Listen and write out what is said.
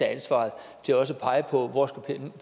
ansvaret til også at pege på hvor